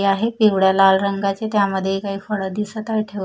आहे पिवळ्या लाल रंगाचे त्यामध्ये काही फळं दिसत आहे--